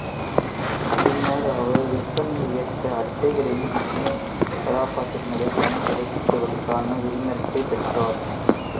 பின்னர் அவர் விற்பனையை இயக்க அட்டைகளில் டிஸ்னி கதாபாத்திரங்களைப் பயன்படுத்துவதற்கான உரிமத்தைப் பெற்றார்